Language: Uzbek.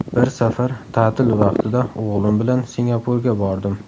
Bir safar ta’til vaqtida o‘g‘lim bilan Singapurga bordim.